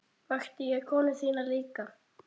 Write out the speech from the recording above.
Vakti ég konu þína líka?